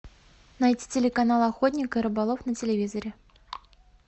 найти телеканал охотник и рыболов на телевизоре